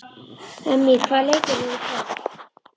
Emmý, hvaða leikir eru í kvöld?